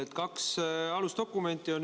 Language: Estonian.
On kaks alusdokumenti.